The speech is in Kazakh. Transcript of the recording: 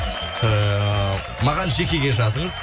ііі маған жекеге жазыңыз